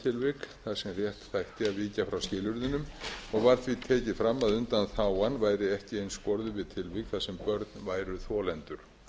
tilvik þar sem rétt þætti að víkja frá skilyrðunum og var því tekið fram að undanþágan væri ekki einskorðuð við tilvik þar sem börn væru þolendur